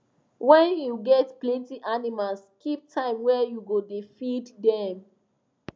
when you get plenty animals keep time wey you go da feed dem